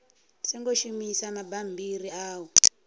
songo shumisa mabammbiri a u